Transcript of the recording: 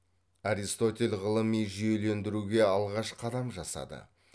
аристотель ғылыми жүйелендіруге алғаш қадам жасады